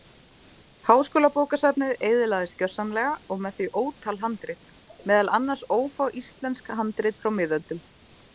Háskólabókasafnið eyðilagðist gjörsamlega og með því ótal handrit, meðal annars ófá íslensk handrit frá miðöldum.